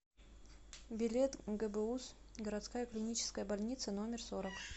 билет гбуз городская клиническая больница номер сорок